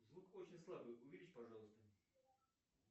звук очень слабый увеличь пожалуйста